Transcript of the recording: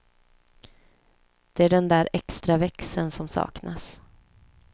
Det är den där extra växeln som saknas.